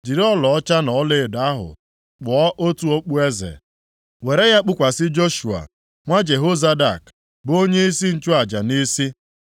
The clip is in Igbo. Jiri ọlaọcha na ọlaedo ahụ kpụọ otu okpueze, were ya kpukwasị Joshua nwa Jehozadak bụ onyeisi nchụaja nʼisi.